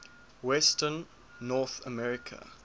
western north america